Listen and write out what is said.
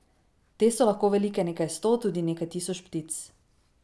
Te so lahko velike nekaj sto, tudi nekaj tisoč ptic.